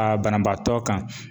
Aa banabaatɔ kan.